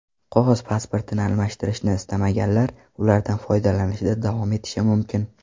Qog‘oz pasportini almashtirishini istamaganlar ulardan foydalanishda davom etishi mumkin.